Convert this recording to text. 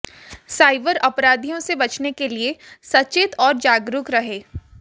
cyber अपराधियों से बचने के लिए सचेत और जागरूक रहें